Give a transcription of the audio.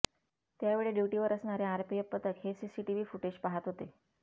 त्यावेळी ड्युटीवर असणारे आरपीएफ पथक हे सीसीटीव्ही फुटेज पाहत होते